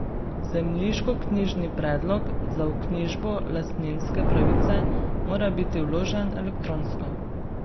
Zemljiškoknjižni predlog za vknjižbo lastninske pravice mora biti vložen elektronsko.